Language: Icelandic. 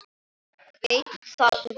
Veit það núna.